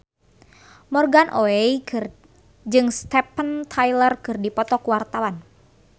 Morgan Oey jeung Steven Tyler keur dipoto ku wartawan